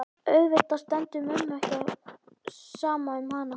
Auðvitað stendur mömmu ekki á sama um hana.